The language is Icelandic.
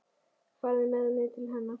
Farðu með mig til hennar.